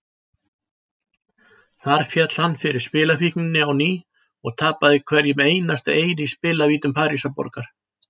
Þar féll hann fyrir spilafíkninni á ný og tapaði hverjum einasta eyri í spilavítum Parísarborgar.